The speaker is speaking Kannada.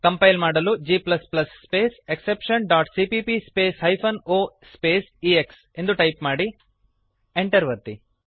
ಕಂಪೈಲ್ ಮಾಡಲು g space exception dot cpp space hyphen o space x ಎಂದು ಟೈಪ್ ಮಾಡಿರಿ Enter ಅನ್ನು ಒತ್ತಿರಿ